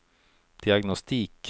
diagnostik